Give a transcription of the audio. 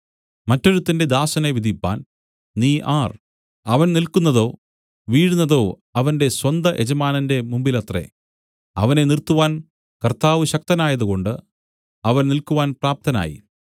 മറ്റൊരുത്തന്റെ ദാസനെ വിധിപ്പാൻ നീ ആർ അവൻ നില്ക്കുന്നതോ വീഴുന്നതോ അവന്റെ സ്വന്തയജമാനന്റെ മുമ്പിലത്രേ അവനെ നിർത്തുവാൻ കർത്താവ് ശക്തനായതുകൊണ്ട് അവൻ നില്ക്കുവാൻ പ്രാപ്തനായി